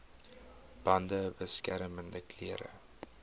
bande beskermende klere